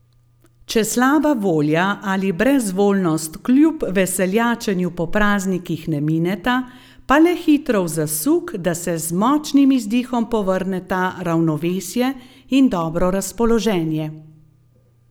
Če slaba volja ali brezvoljnost kljub veseljačenju po praznikih ne mineta, pa le hitro v zasuk, da se z močnim izdihom povrneta ravnovesje in dobro razpoloženje.